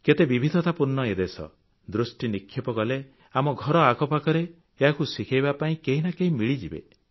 କେତେ ବିବିଧତା ପୂର୍ଣ୍ଣ ଏ ଦେଶ ଦୃଷ୍ଟିନିକ୍ଷେପ କଲେ ଆମ ଘର ଆଖପାଖରେ ଏହାକୁ ଶିଖେଇବା ପାଇଁ କେହି ନା କେହି ମିଳିଯିବେ